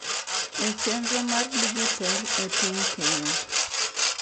E chenro mar dijitol e ping Kenya